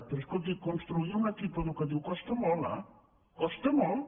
però escolti construir un equip educatiu costa molt eh costa molt